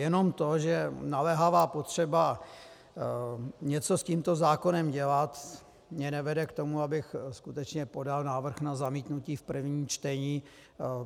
Jenom to, že naléhavá potřeba něco s tímto zákonem dělat mě nevede k tomu, abych skutečně podal návrh na zamítnutí v prvním čtení.